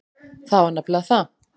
Það var nefnilega það.